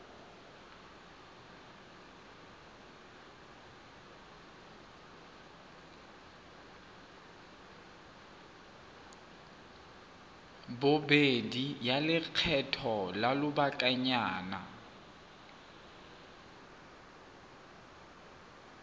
bobedi ya lekgetho la lobakanyana